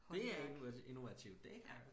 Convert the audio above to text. Det er innovativt det er